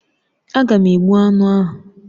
Aga m egbu aṅụ ahụ